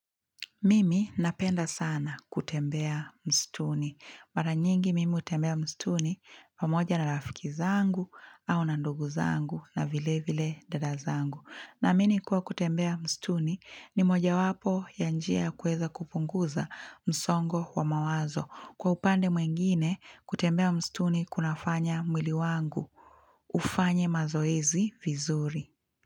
Mimi napenda sana kutembea mstuni. Mara nyingi mimi hutembea msituni pamoja na rafiki zangu au na ndugu zangu na vile vile dada zangu. Naamini kuwa kutembea msituni ni moja wapo ya njia ya kuweza kupunguza msongo wa mawazo. Kwa upande mwengine kutembea msituni kuna fanya mwili wangu ufanye mazoezi vizuri.